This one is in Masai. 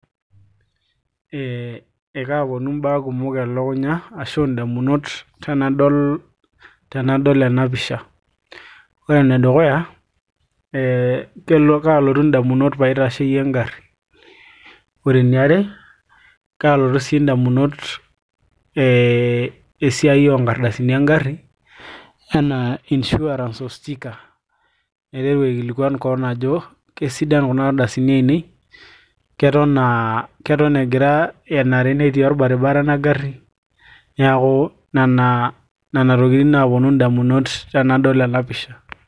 ee ekaponu imbaa kumok elukunya ashu indamunot tenadol ena pisha ore enedukuya ee kaalotu indamunot paitasheyie engarri ore eniare ee kaalotu sii indamunot ee esiai oonkardasini engarri enaa insurance o sticker naiteru aikilikuan koon ajo kesiadan kuna ardasini ainei keton egira enare netii orbaribara ena garri niaku nena tokitin naaponu indamunot tenadol ena pisha.